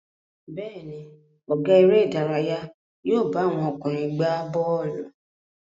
Bẹ́ẹ̀ ni, ọ̀gá eré-idárayá yóò bá àwọn ọkùnrin gbà bọ́ọ́lù.